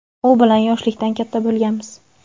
u bilan yoshlikdan katta bo‘lganmiz.